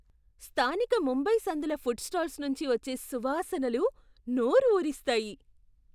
స్థానిక ముంబై సందుల food stalls నుంచి వచ్చే సువాసనలు నోరు ఊరిస్తాయి!